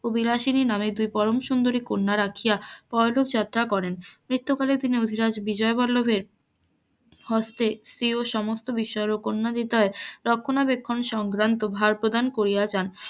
ও বিলাসিনি নামে দুই পরম সুন্দরী কন্যা রাখিয়া পরলোক যাত্রা করেন, মৃত্যুকালের বিজয় বল্লভের হস্তে প্রিয় সমস্ত বিষয় ও কন্যাদ্বিদয়ের রক্ষ্যনা বেক্ষ্যনের সম্ভ্রান্ত ভার প্রদান করিয়া যান,